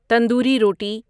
تندوری روٹی